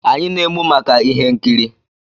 Anyị na-emu maka ihe nkiri